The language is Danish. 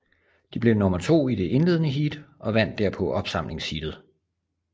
De blev nummer to i det indledende heat og vandt derpå opsamlingsheatet